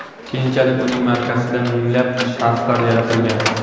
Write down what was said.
Keyinchalik uning markasida minglab sharflar yaratilgan.